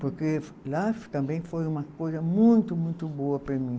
Porque lá também foi uma coisa muito, muito boa para mim.